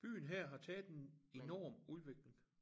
Byen her har taget en enorm udvikling